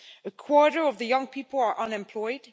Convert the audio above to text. A quarter of the young people are unemployed